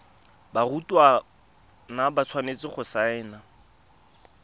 barutwana ba tshwanetse go saena